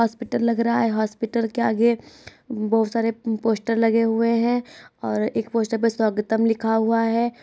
Hospital लग रहा है। हॉस्पिटल के आगे बहुत सारे पोस्टर लगे हुए हैं और एक पोस्टर पर स्वागतम लिखा हुआ है।